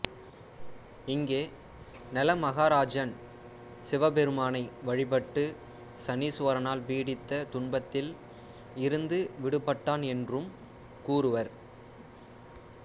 இங்கே நள மகாராஜான் சிவபெருமானை வழிபட்டு சனீஸ்வரனால் பீடித்த துன்பத்தில் இருந்து விடுபட்டான் என்றும் கூறுவர்